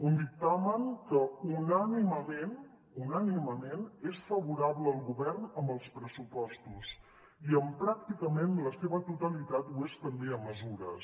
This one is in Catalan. un dictamen que unànimement unànimement és favorable al govern en els pressupostos i en pràcticament la seva totalitat ho és també en mesures